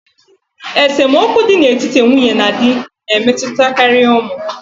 Esemokwu dị n'etiti nwunye na di na-emetụtakarị ụmụ.